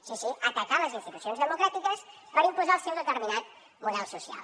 sí sí atacar les institucions democràtiques per imposar el seu determinat model social